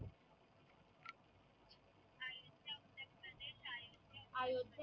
अयोध्येत